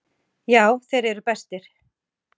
Já, þeir eru bestir.